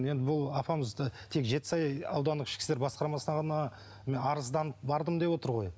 енді бұл апамызды тек жетісай аудандық ішкі істер басқармасына ғана арызданып бардым деп отыр ғой